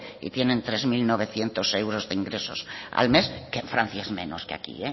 y tienen tres mil novecientos euros de ingresos al mes que en francia es menos que aquí